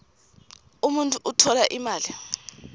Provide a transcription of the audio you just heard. umuntfu utfola imali